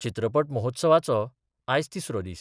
चित्रपट महोत्सवाचो आयज तिसरो दिस.